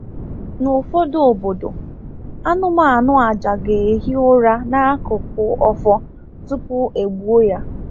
N’ụfọdụ obodo, anụmanụ àjà ga-ehi ụra n’akụkụ ọfọ tupu e gbuo ya.